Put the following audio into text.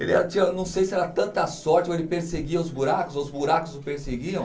Ele era tinha, não sei se era tanta sorte, ou ele perseguia os buracos, ou os buracos o perseguiam.